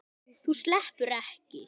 Þú sleppur ekki!